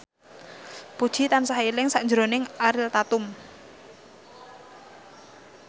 Puji tansah eling sakjroning Ariel Tatum